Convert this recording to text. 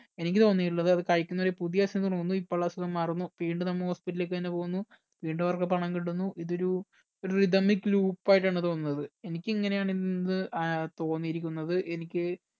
എനിക്ക് തോന്നിയിട്ടുള്ളത് അത് കഴിക്കുന്നവരെ പുതിയ അസുഖം വരുന്നു ഇപ്പോൾ അസുഖം മാറുന്നു വീണ്ടും നമ്മ hospital ലേക്ക് തന്നെ പോകുന്നു വീണ്ടും അവർക്ക് പണം കിട്ടുന്നു ഇതൊരു ഇതൊരു rythamic loop ആയിട്ടാണ് തോന്നുന്നത് എനിക്ക് ഇങ്ങനെയാണ് ഇന്ന് ഇത് ഏർ തോന്നിയിരിക്കുന്നത് എനിക്ക്